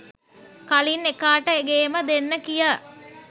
කලින් එකාට ගේම දෙන්න කිය